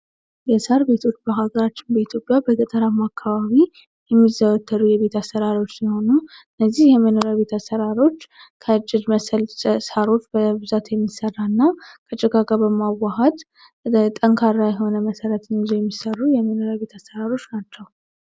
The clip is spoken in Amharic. የሳር ቤቶች በኢትዮጵያ በሃገራችን በገጠር አከባቢ የሚዘወተሩ የቤት አሰራሮች ነውና ይህም የቤት አሰራሮች ከጂል መሰል ሳሮች በብዛት የሚሰራና ከጭቃ ጋር በመወሓድ ጠንካራ መሰረት ይዘው የሚሰሩ ቤቶች ናቸው።